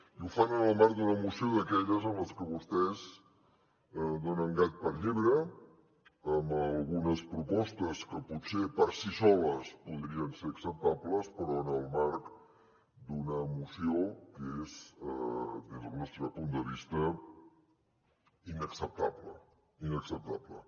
i ho fan en el marc d’una moció d’aquelles en les que vostès donen gat per llebre amb algunes propostes que potser per si soles podrien ser acceptables però en el marc d’una moció que és des del nostre punt de vista inacceptable inacceptable